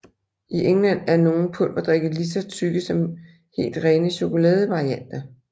I England er nogle pulverdrikke ligeså tykke som helt rene chokoladevarianter